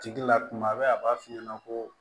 A tigi la kuma bɛɛ a b'a f'i ɲɛna ko